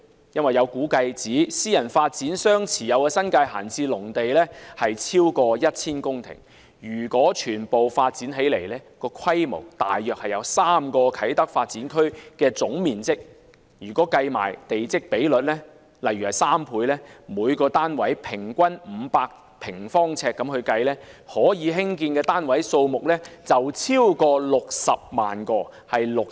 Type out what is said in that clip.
有估計指，私人發展商持有的新界閒置農地超過 1,000 公頃，如果全部發展起來，規模大約為3個啟德發展區的總面積，如果計算地積比率，例如3倍，以每個單位平均500平方呎計算，可興建的單位數目超過60萬個。